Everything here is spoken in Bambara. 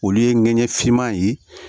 Olu ye ɲɛgɛn finman ye